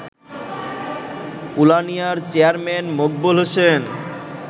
উলানিয়ার chairman Maqbul Hossain